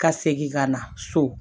Ka segin ka na so